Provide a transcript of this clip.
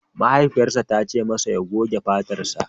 Mahaifiyarsa ta ce masa ya goge fatarsa!